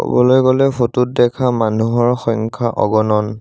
ক'বলৈ গ'লে ফটো ত দেখা মানুহৰ সংখ্যা অগনন।